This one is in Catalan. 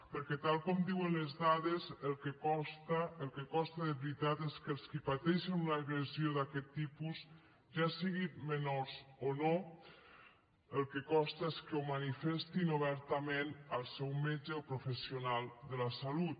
perquè tal com diuen les dades el que costa el que costa de veritat és que els qui pateixen una agressió d’aquest tipus ja siguin menors o no el que costa és que ho manifestin obertament al seu metge o professional de la salut